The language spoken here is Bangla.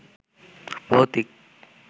ভৌতিক